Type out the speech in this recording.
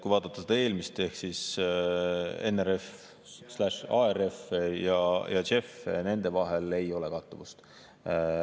Kui vaadata seda eelmist ehk NRF/ARF‑i ja JEF‑i – nende vahel ei ole kattuvust.